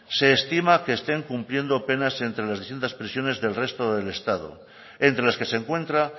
se estima que estén cumpliendo penas entre las distintas prisiones del resto del estado entre las que se encuentra